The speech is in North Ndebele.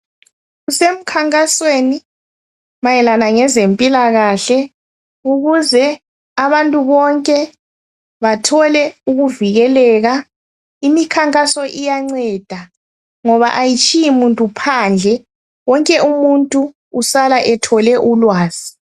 Kusemkhankasweni mayelana ngezempilakahle ukuze abantu bonke bathole ukuvikeleka. Imikhankaso iyanceda ngoba ayitshiyi muntu phandle. Wonke umuntu usala ethole ulwazi.